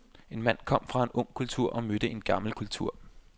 En mand kom fra en ung kultur og mødte en gammel kultur.